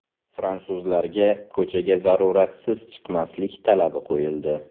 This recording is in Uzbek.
Fransuzlarga ko‘chaga zaruratsiz chiqmaslik talabi qo‘yildi .